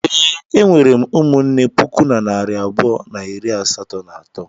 Ee, e nwere m ụmụnne puku na narị abụọ na iri asatọ na atọ.